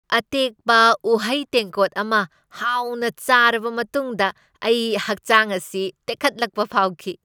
ꯑꯇꯦꯛꯄ ꯎꯍꯩ ꯇꯦꯡꯀꯣꯠ ꯑꯃ ꯍꯥꯎꯅ ꯆꯥꯔꯕ ꯃꯇꯨꯡꯗ ꯑꯩ ꯍꯛꯆꯥꯡ ꯑꯁꯤ ꯇꯦꯛꯈꯠꯂꯛꯄ ꯐꯥꯎꯈꯤ ꯫